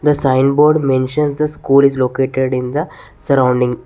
The signboard mentions the school is located in the surrounding.